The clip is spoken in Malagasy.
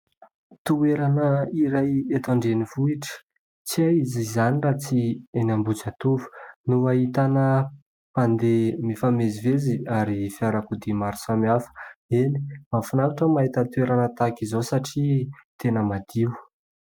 Toerana iray eto andrenivohitra, tsy aiza izany raha tsy eny Ambohijatovo, no ahitana mpandeha mifamezivezy ary fiarakodia maro samihafa. Eny, mahafinaritra ny mahita toerana tahaka izao satria tena madio.